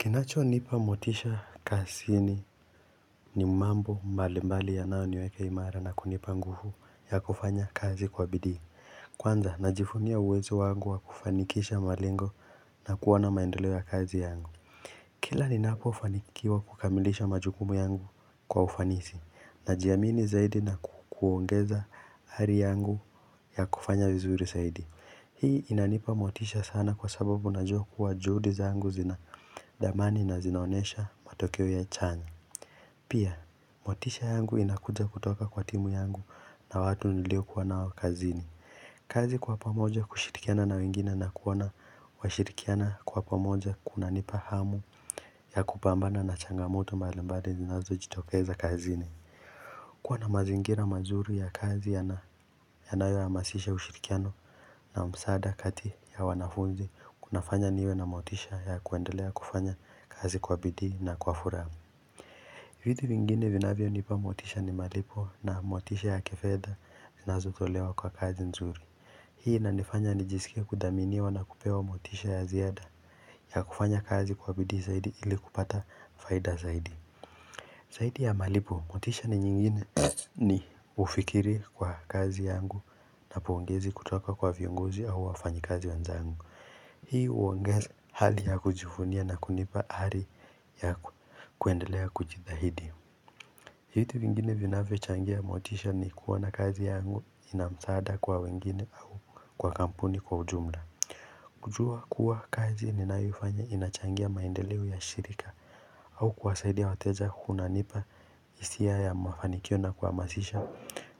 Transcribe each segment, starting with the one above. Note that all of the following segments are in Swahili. Kinacho nipa motisha kasini ni mambo mbali mbali ya nao niweka imara na kunipa nguvu ya kufanya kazi kwa bidii Kwanza na jivunia uwezo wangu wa kufanikisha malengo na kuwana maendeleo ya kazi yangu Kila ni napo fanikiwa kukamilisha majukumu yangu kwa ufanisi na jiamini zaidi na kuongeza ari yangu ya kufanya vizuri zaidi Hii inanipa motisha sana kwa sababu na jua kuwa juhudi zangu zina dhamani na zinaonesha matokeo ya chanya Pia, motisha yangu inakuja kutoka kwa timu yangu na watu nilio kuwanao kazini kazi kwa pamoja kushirikiana na wengine na kuona washirikiana kwa pamoja kuna nipa hamu ya kupambana na changamoto mbalimbali zinazo jitokeza kazini kuwa na mazingira mazuri ya kazi ya nayo hamasisha ushirikiano na msaada kati ya wanafunzi kunafanya niwe na motisha ya kuendelea kufanya kazi kwa bidii na kwa furaha vitu vingine vinavyo nipa motisha ni malipo na motisha ya kifedha na zotolewa kwa kazi nzuri Hii inanifanya nijisike kudhaminiwa na kupewa motisha ya ziada ya kufanya kazi kwa bidii zaidi ili kupata faida zaidi zaidi ya malipo, motisha ni nyingine ni ufikiri kwa kazi yangu na pongezi kutoka kwa viongozi au wafanyi kazi wanzangu. Hii uongeza hali ya kujivunia na kunipa hali ya kuendelea kujitahidi. Vitu vingine vinavyo changia motisha ni kuoana kazi yangu inamsaada kwa wengine au kwa kampuni kwa ujumla. Kujua kuwa kazi ninayoifanya inachangia maendeleo ya shirika au kuwasaidia wateja kunanipa hisia ya mafanikio na kuhamasisha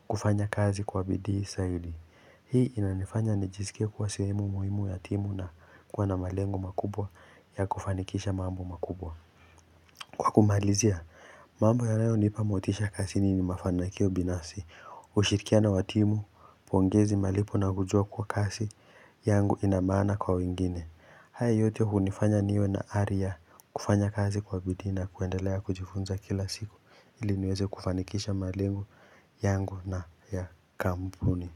kufanya kazi kwa bidii zaidi. Hii inanifanya nijiskie kuwa sehemu muhimu ya timu na kuwana malengo makubwa ya kufanikisha mambo makubwa. Kwa kumalizia, mambo ya nayo nipa motisha kazini ni mafanakio binasi, hushirikia na watimu, pongezi malipo na kujua kwa kazi yangu inamaana kwa wengine. Haya yote hunifanya niwe na ari ya kufanya kazi kwa bidii na kuendelea kujifunza kila siku ili niweze kufanikisha malengo yangu na ya kampuni.